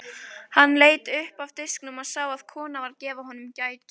Hann leit upp af diskinum og sá að kona var að gefa honum gætur.